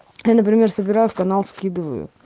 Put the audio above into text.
например собираю в канал скидываю